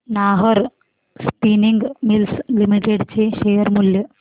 Nahar spinning mills limited चे share मूल्य